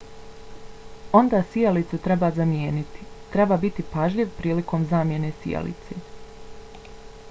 onda sijalicu treba zamijeniti. treba biti pažljiv prilikom zamjene sijalice